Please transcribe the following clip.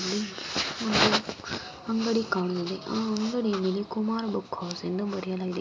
ಇದು ಒಂದು ಅಂಗಡಿ ಕಾಣುವುದು ಆ ಅಂಗಡಿಯಲ್ಲಿ ಕುಮಾರ್ ಬುಕ್ ಹೌಸ್ ಎಂದು ಬರೆಯಲಾಗಿದೆ.